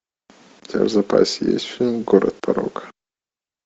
у тебя в запасе есть фильм город порока